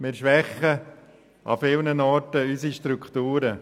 – Wir schwächen vielerorts unsere Strukturen.